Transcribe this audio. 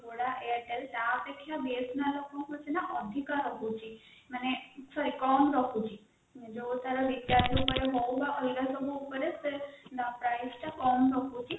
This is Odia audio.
airtel ତା ଅପେକ୍ଷା BSNL ନା ଆପଣଙ୍କର ଅଧିକ ରହୁଛି ମାନେ sorry କମ ରହୁଛି କମ ରହୁଛି